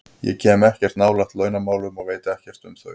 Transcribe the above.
Ég kem ekkert nálægt launamálum og veit ekkert um þau.